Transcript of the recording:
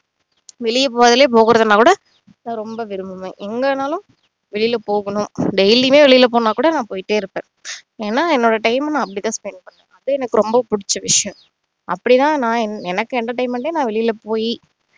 வெளிய போறதுலே போகறதுன்னா கூட நான் ரொம்ப விரும்புவேன் எங்கன்னாலும் வெளிய போகணும் daily உமே வெளில போகணும்னா கூட நான் போயிட்டே இருப்பேன் ஏன்னா என்னோட time அ நான் அப்படித்தான் spend பண்ணுவன் அது எனக்கு ரொம்ப புடிச்ச விஷயம் அப்படின்னா நான் எனக்கு entertainment ஏ நான் வெளில போய்